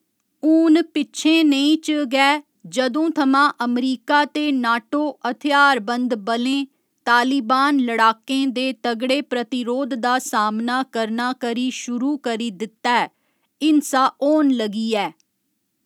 हून पिच्छें नेही च गै जदूं थमां अमरीका ते नाटो हथ्यारबंद बलें तालिबान लड़ाकें दे तगड़े प्रतिरोध दा सामना करना करी शुरू करी दित्ता ऐ, हिंसा होन लगी ऐ।